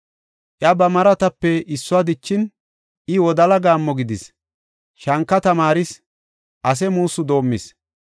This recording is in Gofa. Iya ba maratape issuwa dichin, I wodala gaammo gidis; shanka tamaaris; ase muussu doomis.